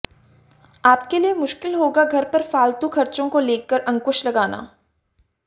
आपके लिए मुश्किल होगा घर पर फालतू खर्चों को लेकर अंकुश लगाना